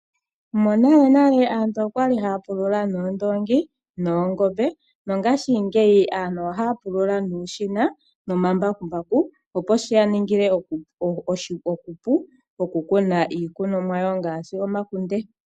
Monalenale aantu okwali haya pulula noondoongi noongombe Mongaashingeyi ohaya pulula nuushina nomambakumbaku opo shi yaningile oshipu okukuma iikunomwa ngaashi omakunde